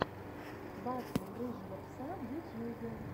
батл рыжего пса в ютьюбе